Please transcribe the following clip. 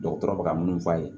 Dɔgɔtɔrɔ bɛ ka mun f'a ye